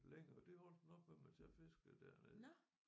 Længere det holdt den op med mens jeg fiskede dernede